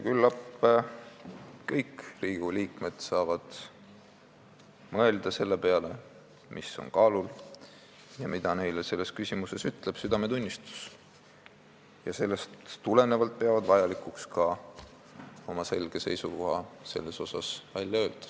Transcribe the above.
Küllap saavad kõik Riigikogu liikmed mõelda selle peale, mis on kaalul ja mida ütleb neile selles küsimuses südametunnistus, ning peavad sellest tulenevalt vajalikuks ka oma selge seisukoht välja öelda.